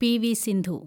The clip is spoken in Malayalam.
പി.വി. സിന്ധു